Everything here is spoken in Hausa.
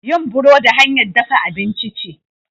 yin burodi hanyar dafa abinci ce